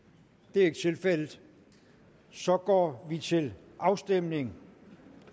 det er ikke tilfældet så går vi til afstemning